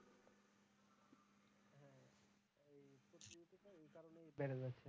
বেড়ে যায়।